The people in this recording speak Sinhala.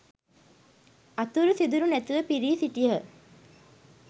අතුරු සිදුරු නැතිව පිරී සිටියහ.